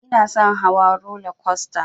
Inason hawa rola kwasta